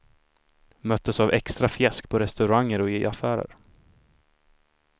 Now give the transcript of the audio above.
Möttes av extra fjäsk på restauranger och i affärer.